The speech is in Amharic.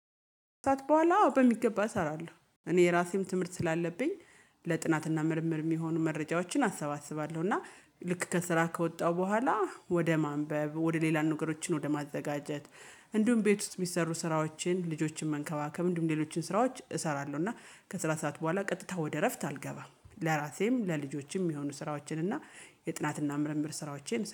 ከሰአት በኋላ በሚገባ እሰራለሁ እኔ የራሴም ትምህርት ስላለብኝ ለጥናትና ምርምር የሚሆኑ መረጃዎችን አሰባስባለሁ። እና ልክ ከስራ ከወጣሁ በኋላ ወደ ማንበብ ወደ ሌላ ነገሮችን ወደ ማዘጋጀት እንዲሁም ቤት ውስጥ የሚሰሩ ስራዎችን ልጆችን መንከባከብ አንዲሁም ሌሎችን ስራዎች እሰራለሁ። እና ከስራ ሰዓት በኋላ ቀጥታ ወደ እረፍት አልገባም። ለራሴም ለልጆቼም የሚሆኑ ስራዎችን እና የጥናትና ምርምር ስራዎቼን